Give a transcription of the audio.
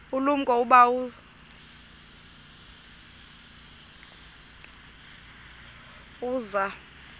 ulumko ukuba uza